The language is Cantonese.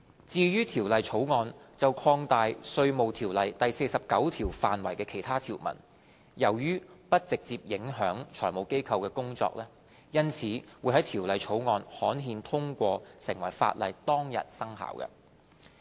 至於《條例草案》就擴大《稅務條例》第49條範圍的其他條文，由於不直接影響財務機構的工作，因此會在《條例草案》刊憲通過成為法例當日生效。